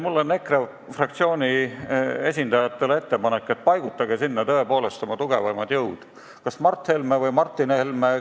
Mul on EKRE fraktsiooni esindajatele ettepanek, et paigutage sinna tõepoolest oma tugevaimad jõud, kas Mart Helme või Martin Helme.